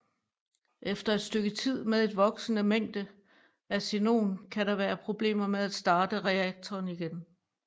Efter et stykke tid med et voksende mængde af xenon kan der være problemer med at starte reaktoren igen